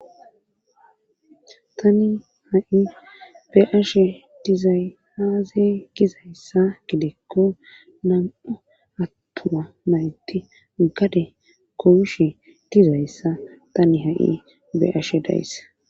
Tani ha7i be7ashe dizay aaze gizayssa gidikko nam7u attuma mayti gade goyishe dizayssa tani ha7i be7ashe days.